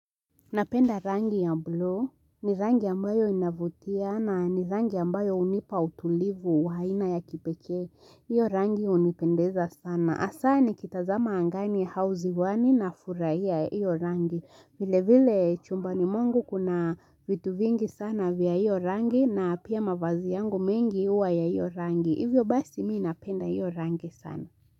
Napenda rangi ya bluu ni rangi ambayo inavutia na ni rangi ambayo hunipa utulivu wa aina ya kipekee. Hiyo rangi hunipendeza sana. Hasa nikitazama angani au ziwani nafurahia hiyo rangi. Vilevile chumbani mwangu kuna vitu vingi sana vya hiyo rangi na pia mavazi yangu mengi huwa ya hiyo rangi. Hivyo basi mimi napenda hiyo rangi sana.